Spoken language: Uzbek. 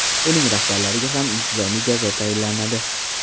Uning rahbarlariga ham intizomiy jazo tayinlanadi.